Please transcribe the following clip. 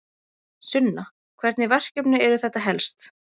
Sunna: Hvernig verkefni eru þetta helst?